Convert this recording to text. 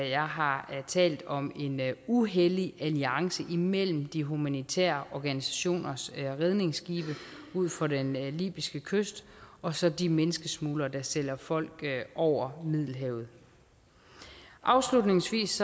jeg har talt om en uhellig alliance imellem de humanitære organisationers redningsskibe ud for den libyske kyst og så de menneskesmuglere der sender folk over middelhavet afslutningsvis